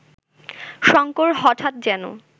শঙ্কর হঠাৎ যেন